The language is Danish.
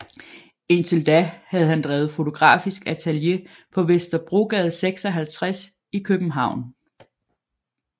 Indtil da havde han drevet fotografisk atelier på Vesterbrogade 56 i København